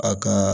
A ka